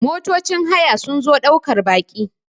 motocin haya sun zo daukar Baki